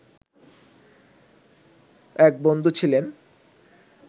এক বন্ধু ছিলেন